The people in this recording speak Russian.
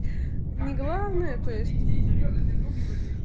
не главное то есть